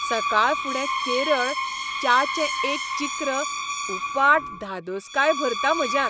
सकाळफुडें केरळ च्याचें एक चिक्र उपाट धादोसकाय भरता म्हज्यांत.